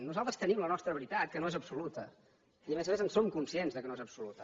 nosaltres tenim la nostra veritat que no és absoluta i a més a més en som conscients que no és absoluta